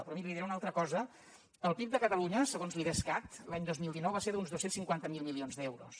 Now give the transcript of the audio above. però miri li diré una altra cosa el pib de catalunya segons l’idescat l’any dos mil dinou va ser d’uns dos cents i cinquanta miler milions d’euros